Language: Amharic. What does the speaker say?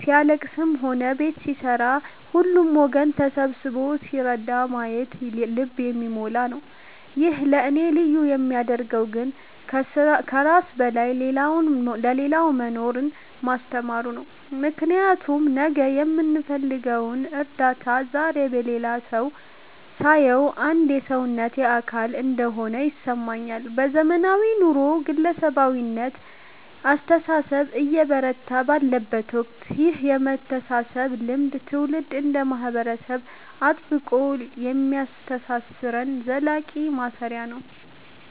ሲያልለቅስም ሆነ ቤት ሲሠራ ሁሉም ወገን ተሰብስቦ ሲረዳ ማየቱ ልብን የሚሞላ ነው። ይህን ለእኔ ልዩ የሚያደርገው ግን ከራስ በላይ ለሌላው መኖርን ማስተማሩ ነው፤ ምክንያቱም ነገ የምፈልገውን እርዳታ ዛሬ በሌላው ላይ ሳየው አንድ የሰውነቴ አካል እንደሆነ ይሰማኛል። በዘመናዊው ኑሮ የግለሰባዊነት አስተሳሰብ እየበረታ ባለበት ወቅት ይህ የመተሳሰብ ልምድ ትውልድ እንደ ማህበረሰብ አጥብቆ የሚያስተሳስረን ዘላቂ ማሰሪያ ነው።